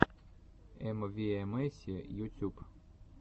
эмвиэмэси ютюб